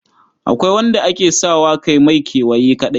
Akwai wanda ake sa wa kai mai kewaye kaɗai.